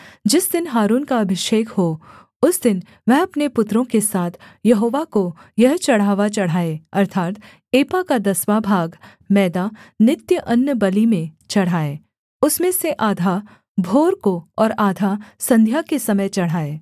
जिस दिन हारून का अभिषेक हो उस दिन वह अपने पुत्रों के साथ यहोवा को यह चढ़ावा चढ़ाए अर्थात् एपा का दसवाँ भाग मैदा नित्य अन्नबलि में चढ़ाए उसमें से आधा भोर को और आधा संध्या के समय चढ़ाए